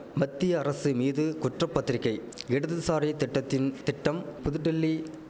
மத்திய அரசு மீது குற்ற பத்திரிகை இடதுசாரி திட்டத்தின் திட்டம் புதுடில்லி